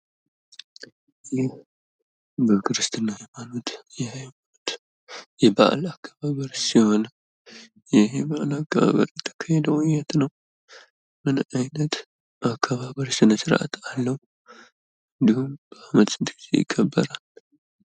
ይህ በክርስትና ሃይማኖት የበአል አከባበር ሲሆን ይህ የበአል አከባበር የሚካሄደው የት ነው? ምን አይነት የአከባበር ስነስርአት አለው? እንድሁም በአመት ስንት ጊዜ ይከበራል?